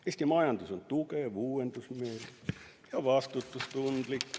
Eesti majandus on tugev, uuendusmeelne ja vastutustundlik.